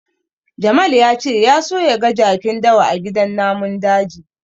Jamal ya ce ya so ya ga jakin dawa a gidan namun daji.